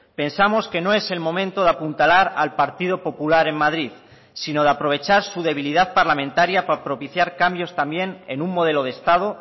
pensamos que no es el momento de apuntalar al partido popular en madrid sino de aprovechar su debilidad parlamentaria para propiciar cambios también en un modelo de estado